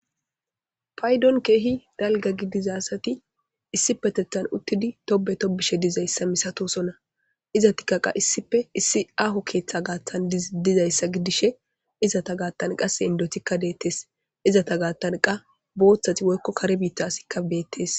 Paydon keehi dalga gidizasati issi petethan uttidi tobe tobishe dizayssa misatosona iza tikkaqa issife issi aaho keeththa gaaththan dizayssa gidishe izata gaattan qase indotikka deettes izata gaattan qa booththati woykko kare biitta asikka beettes.